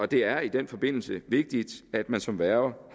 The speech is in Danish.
det er i den forbindelse vigtigt at man som værge